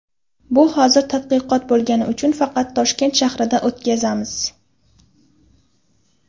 Bu hozir tadqiqot bo‘lgani uchun faqat Toshkent shahrida o‘tkazamiz.